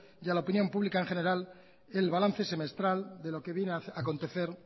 y a la opinión pública en general el balance semestral a lo que viene a acontecer